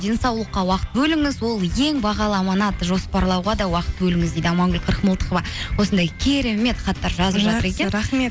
денсаулыққа уақыт бөліңіз ол ең бағалы аманат жоспарлауға да уақыт бөліңіз дейді амангүл қырықмылтықова осындай керемет хаттар рахмет